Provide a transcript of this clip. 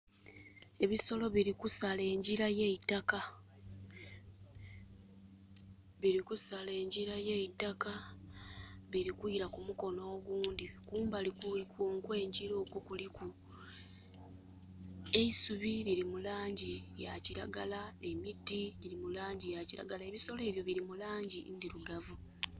Ebisolo bili kusala engira y'eitaka. Bili kusala engira y'eitaka. Bili kwila ku mukono ogundhi. Kumbali okw'engira okwo kuliku eisubi. Lili mu laangi ya kiragala. Emiti gyiri mu laangi ya kiragala. Ebisolo ebyo bili mu laangi ndhirugavu.